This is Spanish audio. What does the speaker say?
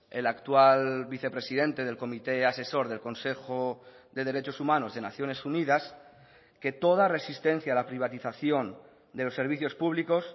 el actual vicepresidente del comité asesor del consejo de derechos humanos de naciones unidas que toda resistencia a la privatización de los servicios públicos